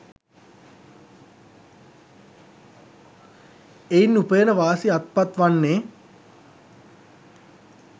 එයින් උපයන වාසි අත්පත් වන්නේ